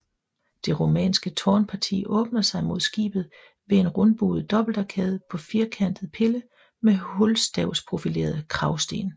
Det romanske tårnparti åbner sig mod skibet ved en rundbuet dobbeltarkade på firkantet pille med hulstavsprofilerede kragsten